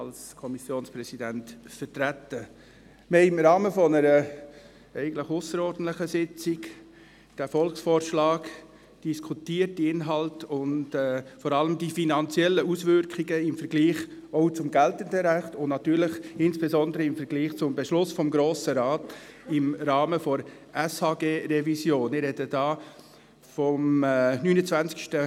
Wir haben diesen Volksvorschlag im Rahmen einer ausserordentlichen Sitzung diskutiert: die Inhalte und vor allem die finanziellen Auswirkungen auch im Vergleich zum geltenden Recht und natürlich insbesondere zum Beschluss des Grossen Rates im Rahmen der Revision des Gesetzes über die öffentliche Sozialhilfe (Sozialhilfegesetz, SHG).